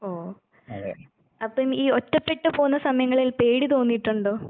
ഓ അപ്പം ഈ ഒറ്റപ്പെട്ടു പോവുന്ന സമയങ്ങളിൽ പേടി തോന്നിയിട്ടൊണ്ടോ?